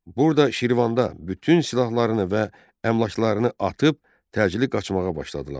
Burda Şirvanlılar bütün silahlarını və əmlaklarını atıb təcili qaçmağa başladılar.